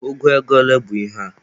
Ụgụ ego ole bụ ihe a?